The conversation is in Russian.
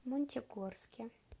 мончегорске